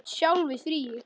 Þú ert sjálf í fríi.